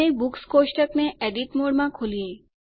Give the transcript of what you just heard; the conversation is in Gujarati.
અને બુક્સ કોષ્ટક ને એડિટ મોડમાં ખોલીએ